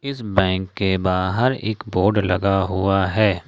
इस बैंक के बाहर एक बोर्ड लगा हुआ है।